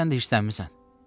Sən də hirslənmisən.